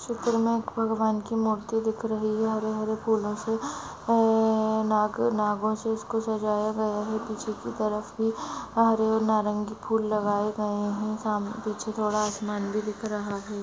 चित्र मे एक भगवान कि मूर्ती दिख रही है हरे हरे फूलों से नाग नागो से इसको सजाया गया है पीछे के तरफ भी हरे और नारंगी फुल लगाये गये है साम पिछे थोडा आसमान भी दिख रहा है।